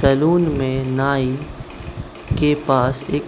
salon में नाई के पास एक